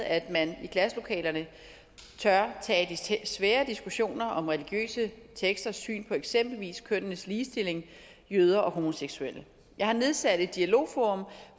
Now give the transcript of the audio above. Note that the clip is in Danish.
at man i klasselokalerne tør tage de svære diskussioner om religiøse teksters syn på eksempelvis kønnenes ligestilling jøder og homoseksuelle jeg har nedsat et dialogforum